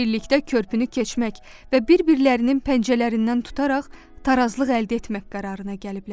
Birlikdə körpünü keçmək və bir-birlərinin pəncələrindən tutaraq tarazlıq əldə etmək qərarına gəliblər.